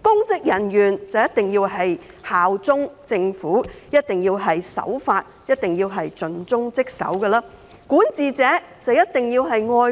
公職人員一定要效忠政府，一定要守法，一定要盡忠職守，而管治者便一定要愛國。